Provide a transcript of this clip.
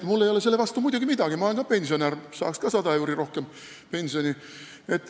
Mul ei ole selle tõstmise vastu muidugi midagi, ma olen ka pensionär, saaksin ka 100 euri rohkem pensioni.